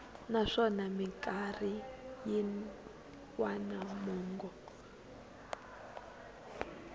naswona mikarhi yin wana mongo